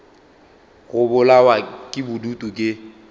go bolawa ke bodutu ke